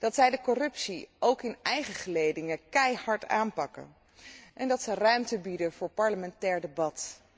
Dat zij de corruptie ook in eigen gelederen keihard aanpakt en dat zij ruimte biedt voor parlementair debat.